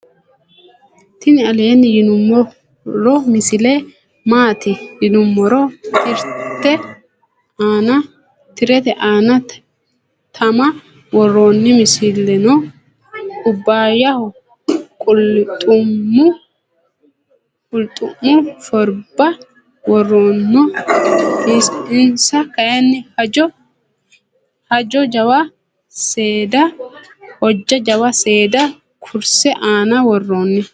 tini aleni yiinumoro misile maati .yiinumor. tiirete anna tama wooronni mulesino kubayaho qulxu'mu shorba wooronno insa kayinni hoja jawa seda kurse anna wooroni.